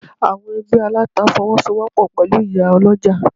Àwọn Ẹgbẹ́ Aláta Fọwọ́sowọ́pọ̀ pẹ̀lú ìyá Ọlọ́jà.